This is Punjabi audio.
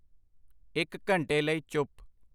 ਇੱਕ ਘੰਟੇ ਲਈ ਚੁੱਪ